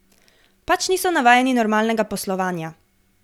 Pač niso navajeni normalnega poslovanja.